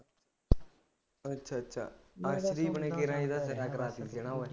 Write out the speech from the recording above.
ਅੱਛਾ ਅੱਛਾ ਅਰਸ਼ਦੀਪ ਨੇ ਕਿਵੇਂ